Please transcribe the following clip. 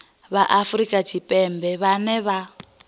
vha afrika tshipembe vhane vha